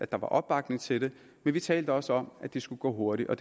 der var opbakning til det men vi talte også om at det skulle gå hurtigt og